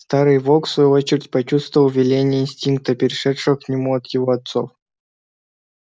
старый волк в свою очередь почувствовал веление инстинкта перешедшего к нему от его отцов